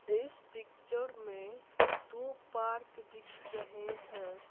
इस पिक्चर में दो पार्क दिख रहे हैं।